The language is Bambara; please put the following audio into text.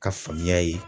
Ka faamuya ye